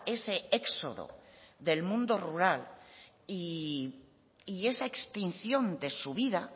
ese éxodo del mundo rural y esa extinción de su vida